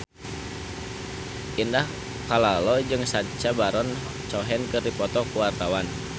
Indah Kalalo jeung Sacha Baron Cohen keur dipoto ku wartawan